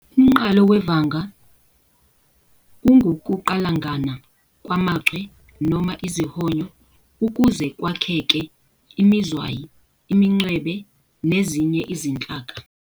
Umnqalo wevanga ungukuqalangana kwamaChwe noma izihonyo ukuze kwakheke imizwayi, imincwebe, nezinye izinhlaka.